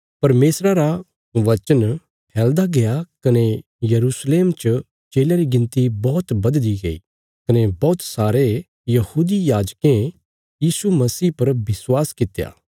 परमेशरा रा वचन फैलदा गया कने यरूशलेम च चेलयां री गिणती बौहत बधदी गई कने बौहत सारे यहूदी याजकें यीशु मसीह पर विश्वास कित्या